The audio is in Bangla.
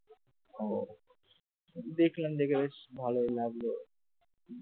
ও দেখলাম দেখে বেশ ভালই লাগলো